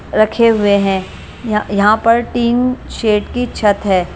रखे हुए हैं य यहां पर टिन शेड की छत है ।